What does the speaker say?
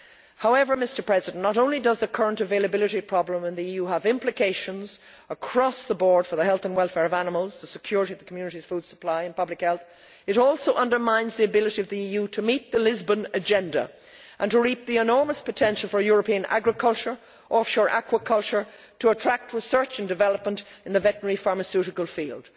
However, not only does the current availability problem in the EU have implications across the board for the health and welfare of animals, the security of the Community's food supply and public health, it also undermines the ability of the EU to meet the Lisbon Agenda and to reap the enormous potential for European agriculture and offshore aquaculture to attract research and development in the veterinary pharmaceutical field.